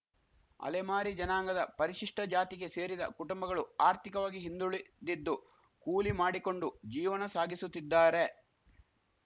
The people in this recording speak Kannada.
ಅಲೆಮಾರಿ ಜನಾಂಗದ ಪರಿಶಿಷ್ಟಜಾತಿಗೆ ಸೇರಿದ ಕುಟುಂಬಗಳು ಆರ್ಥಿಕವಾಗಿ ಹಿಂದುಳಿದಿದ್ದು ಕೂಲಿ ಮಾಡಿಕೊಂಡು ಜೀವಣ ಸಾಗಿಸುತ್ತಿದ್ದಾರೆ